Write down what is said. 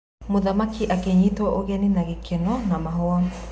Mũthamaki akĩnyitwo ũgeni na gĩkeno na mahũa.